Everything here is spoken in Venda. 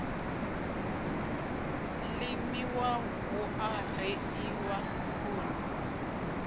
limiwa hu a reḓiwa khuni